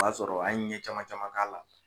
O b'a sɔrɔ an ye ɲɛ caman caman k'a la.